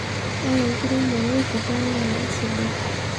ore enkiremore olkikua naa isidai